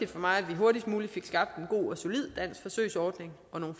for mig at vi hurtigst muligt fik skabt en god og solid dansk forsøgsordning og nogle